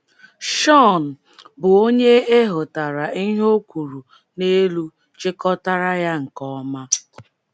Shawn, bụ́ onye e hotara ihe o kwuru n’elu chịkọtara ya nke ọma.